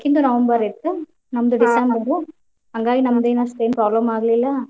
ಅಕಿಂದು November ಇತ್ತು. ನಂದ್ December ಹಾಂಗಾಗಿ ನಮಗೇನ್ ಅಷ್ಟೆನ್ problem ಆಗ್ಲಿಲ್ಲಾ.